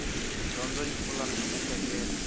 dyondzo yi pfula mieheketo